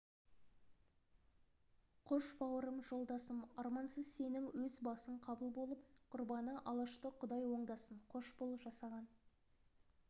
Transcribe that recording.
қош бауырым жолдасым армансыз сенің өз басың қабыл болып құрбаны алашты құдай оңдасын қош бол жасаған